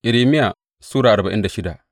Irmiya Sura arba'in da shida